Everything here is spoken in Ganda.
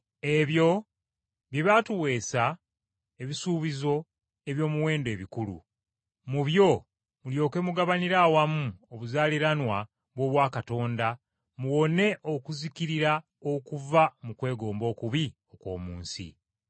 Ebyo bye byatuweesa ebisuubizo eby’omuwendo ebikulu, mu byo mulyoke mugabanire awamu obuzaaliranwa bw’obwakatonda, muwone okuzikirira okuva mu kwegomba okubi okw’omu nsi.